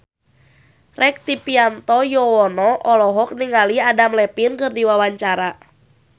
Rektivianto Yoewono olohok ningali Adam Levine keur diwawancara